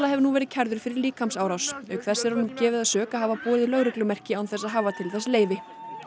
hefur nú verið kærður fyrir líkamsárás auk þess er honum gefið að sök að hafa borið lögreglumerki án þess að hafa til þess leyfi